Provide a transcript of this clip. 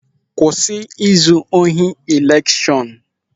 Kwụsị izu ohi elekshọn!